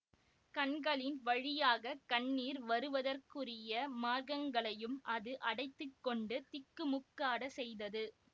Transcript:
கண்களின் வழியாக கண்ணீர் வருவதற்குரிய மார்க்கங்களையும் அது அடைத்து கொண்டு திக்குமுக்காடச் செய்தது